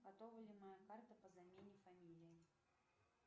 готова ли моя карта по замене фамилии